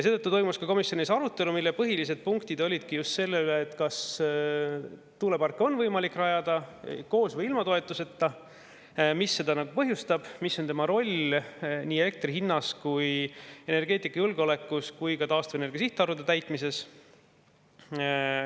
Seetõttu toimus komisjonis arutelu, mille põhilised punktid just seda, kas tuuleparki on võimalik rajada koos või ilma toetuseta, mis seda põhjustab ning mis on selle roll nii elektri hinnas, energeetikajulgeolekus kui ka taastuvenergia sihtarvude täitmises.